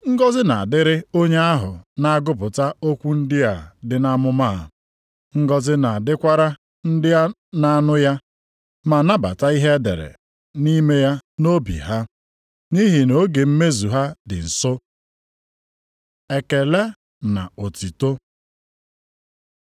Ngọzị na-adịrị onye ahụ na-agụpụta okwu ndị a dị nʼamụma a. Ngọzị na-adịkwara ndị na-anụ ya, ma nabata ihe e dere nʼime ya nʼobi ha. Nʼihi na oge mmezu ha dị nso. Ekele na otuto